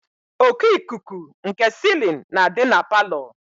Oku ikuku nke silin na adị na palọ.